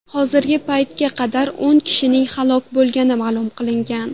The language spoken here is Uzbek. Hozirgi paytga qadar o‘n kishining halok bo‘lganligi ma’lum qilingan.